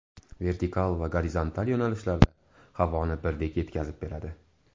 Vertikal va gorizontal yo‘nalishlarda havoni birdek yetkazib beradi.